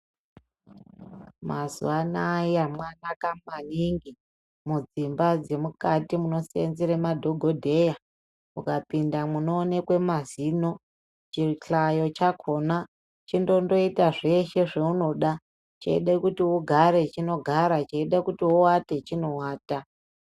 Mazuva anaya mwanaka maningi mudzimba dzemukati munosenzere madhokodheya. Uukapinde munoonekwe mazino chihlayo chakona chindondoita zveshe zvaunoda cheida kuti ugare chinogara, cheide kuti uate chinoata.